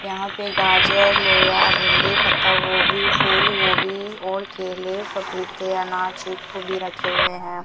यहां पे गाजर लोया भिंडी पत्ता गोभी फूल गोभी और केले पपीते अनार चीकू भी रखे हुए हैं।